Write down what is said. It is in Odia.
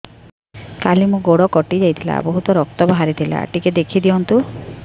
କାଲି ମୋ ଗୋଡ଼ କଟି ଯାଇଥିଲା ବହୁତ ରକ୍ତ ବାହାରି ଥିଲା ଟିକେ ଦେଖି ଦିଅନ୍ତୁ